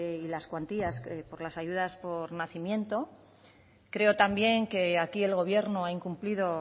y las cuantías por las ayudas por nacimiento creo también que aquí el gobierno ha incumplido